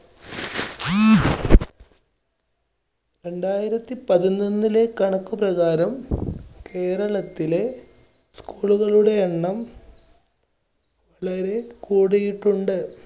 രണ്ടായിരത്തി പതിമൂന്നിലെ കണക്കുപ്രകാരം കേരളത്തിലെ school കളുടെ എണ്ണം കൂടിയിട്ടുണ്ട്.